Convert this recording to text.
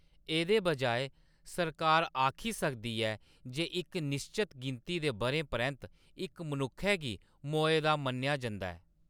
एह्‌‌‌दे बजाए, सरकार आखी सकदी ऐ जे इक निश्चत गिनती दे बʼरें परैंत्त, इक मनुक्खै गी "मोए दा" मन्नेआ जंदा ऐ।